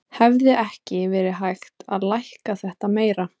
Hefði ekki verið hægt að lækka þetta meira?